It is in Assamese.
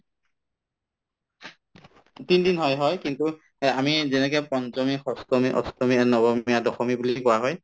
তিনিদিন হয় হয় কিন্তু এহ্ আমি যেনেকে পঞ্চমী, ষষ্ঠমী, অষ্টমী এই নৱমী আৰু দশমী বুলি কোৱা হয়